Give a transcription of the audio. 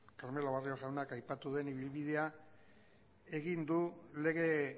carmelo barrio jaunak aipatu duen ibilbidea egin du lege